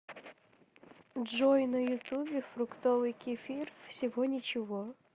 джой на ютубе фруктовый кефир всего ничего